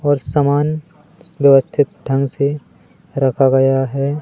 और समान व्यवस्थित ढंग से रखा गया है।